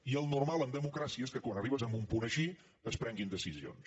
i el normal en democràcia és que quan arribes a un punt així es prenguin decisions